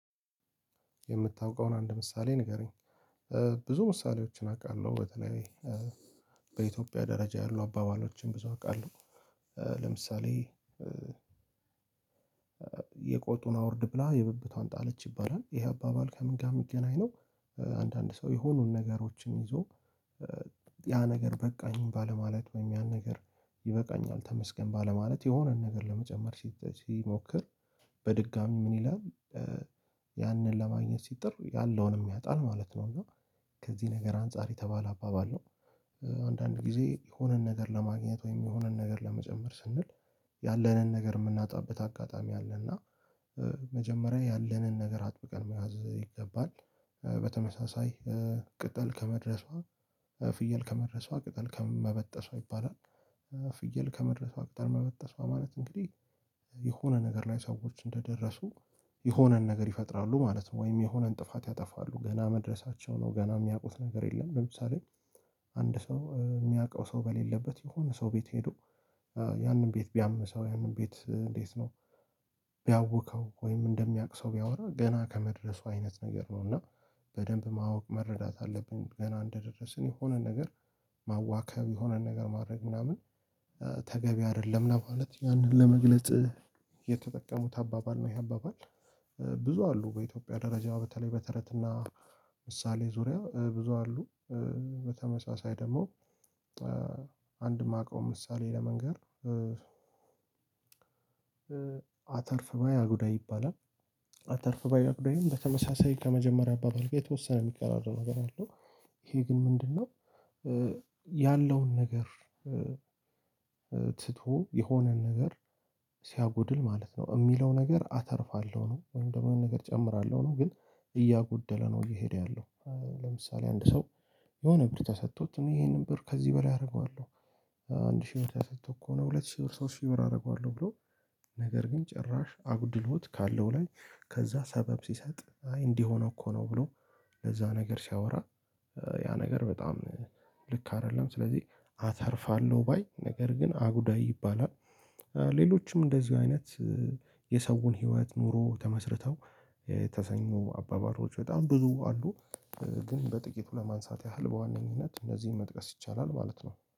የምታውቀውን አንድ ምሳሌ ንገረኝ? ብዙ ምሳሌዎችን አውቃለሁ በተለይ በኢትዮጵያ ደረጃ ያሉ አባባሎችን ብዙ አውቃለሁ። ለምሳሌ የቆጡን አውርድ ብላ የብብቷን ጣለች ይባላል ይሄ አባባል ከምን ጋር የሚገናኝ ነው? አንዳንድ ሰው የሆኑን ነገሮችን ይዞ ያ ነገር በቃኝ ባለማለት ወይም ያን ነገር ይበቃኛል ተመስገን ባለማለት የሆነን ነገር ለመጨመር ሲሞክር በድጋሚ ምን ይላል? ያንን ለማግኘት ሲጥር ያለውን ያጣል ማለት ነው። እና ከዚህ ነገር አንፃር የተባለ አባባል ነው። አንዳንድ ጊዜ የሆነን ነገር ለማግኘት ወይም የሆነን ነገር ለመጨመር ስንል ያለንን ነገር የምናጣበት አጋጣሚ አለ። እና መጀመሪያ ያለንን ነገር አጥብቀን መያዝ ይገባል። በተመሳሳይ ቅጠል ከመድረሷ ፍየል ከመድረሷ ቅጠል ከመበጠሷ ይባላል። ፍየል ከመድረሷ ቅጠል መበጠሷ ማለት እንግዲህ የሆነ ነገር ላይ ሰዎች እንደደረሱ የሆነን ነገር ይፈጥራሉ ማለት ነው ወይም የሆነን ጥፋት ያጠፋሉ ገና መድረሳቸው ነው ገና የሚያውቁት ነገር የለም። ለምሳሌ አንድ ሰው የሚያውቀው ሰው በሌለበት የሆነ ሰው ቤት ሄዶ ያንን ቤት ቢያምሰው ያንን ቤት እንዴት ነው? ቢያውከው ወይም እንደሚያውቅ ሰው ቢያወራ ገና ከመድረሱ አይነት ነገር ነው። እና በደንብ ማወቅ መረዳት አለብን። ገና እንደደረስን የሆነ ነገር ማዋከብ የሆነ ነገር ማድረግ ምናምን ተገቢ አይደለም። ማለት ያንን ለመግለጽ የተጠቀሙት አባባል ነው። ያባባል ብዙ አሉ በኢትዮጵያ ደረጃዋ በተለይ በተረትና ምሳሌ ዙሪያው ብዙ አሉ። በተመሳሳይ ደግሞ የማውቀው ምሳሌ ለመንገር አተርፍ ባይ አጉዳእ ይባላል። አተርፍ ባይ አጉዳዬም በተመሳሳይ ከመጀመሪያ አባባል ጋር የተወሰነ የሚቀራረብ ነገር አለው ይሄ ግን ምንድነው? ያለውን ነገር ትቶ የሆነን ነገር ሲያጎድል ማለት ነው። የሚለው ነገር አተርፋለሁ ነው ወይም ደግሞ ነገር እጨምራለሁ ነው። ግን እያጎደለ ነው እየሄደ ያለው። ለምሳሌ አንድ ሰው የሆነ ብር ተሰጥቶት እኔ ይሄንን ብር ከዚህ በላይ አደርገዋለሁ። አንድ ሺህ ብቻ ሰጥቶ እኮ ነው ሁለት ሺህ ብር ሶስት ሺህ ብር አደርገዋለሁ ብሎ። ነገር ግን ጭራሽ አጉድሎት ካለው ላይ ከዛ ሰበብ ሲሰጥ አይ እንዲህ ሆኖ እኮ ነው ብሎ ለዛ ነገር ሲያወራ። ያ ነገር በጣም ልክ አይደለም። ስለዚህ አተርፋለሁ ባይ ነገር ግን አጉዳይ ይባላል። ሌሎችም እንደዚህ አይነት የሰውን ህይወት ኑሮ ተመስርተው የተሰኙ አባባሎች በጣም ብዙ አሉ። ግን በጥቂቱ ለማንሳት ያህል በዋነኝነት እነዚህን መጥቀስ ይቻላል ማለት ነው